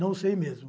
Não sei mesmo.